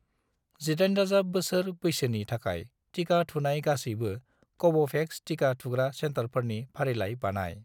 18+ बोसोर बैसोनि थाखाय टिका थुनाय गासैबो कव'भेक्स टिका थुग्रा सेन्टारफोरनि फारिलाइ बानाय।